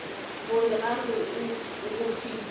gore a re go fihla